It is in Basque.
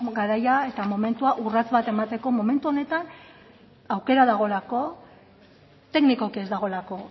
garaia eta momentua urrats bat emateko momentu honetan aukera dagoelako teknikoki ez dagoelako